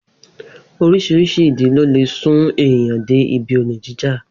Orís̩irís̩i ìdí ló lè sún èèyàn dé ibi olè jíjà